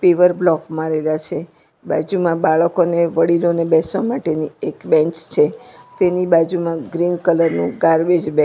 ઇવર block મારેલા છે બાજુમાં બાળકોને વડીલોને બેસવા માટેની એક બેન્ચ છે તેની બાજુમાં ગ્રીન કલરનું ગારબેજ બેગ --